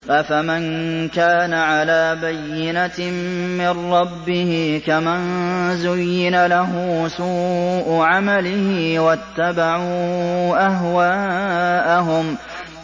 أَفَمَن كَانَ عَلَىٰ بَيِّنَةٍ مِّن رَّبِّهِ كَمَن زُيِّنَ لَهُ سُوءُ عَمَلِهِ وَاتَّبَعُوا أَهْوَاءَهُم